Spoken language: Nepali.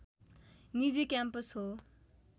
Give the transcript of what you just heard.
निजी क्याम्पस हो